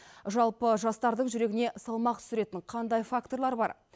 жалпы жастардың жүрегіне салмақ түсіретін қандай факторлар бар